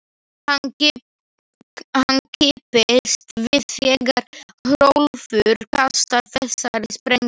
Hann kippist við þegar Hrólfur kastar þessari sprengju.